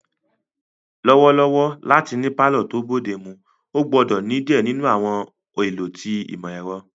Lọwọlọwọ lati ni palọ to bodemu, o gbọdọ ni diẹ ninu àwọn ẹlọ ti imọ-ẹrọ.